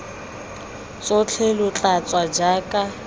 tsotlhe lo tla tswa jaaka